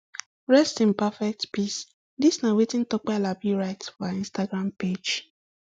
rest in perfect peace dis na wetin tope alabi write for her instagram page